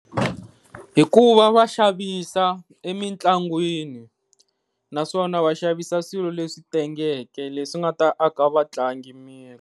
Hikuva va xavisa emitlangwini naswona va xavisa swilo leswi tengeke leswi nga ta aka vatlangi miri.